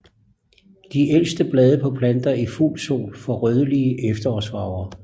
De ældste blade på planter i fuld sol får rødlige efterårsfarver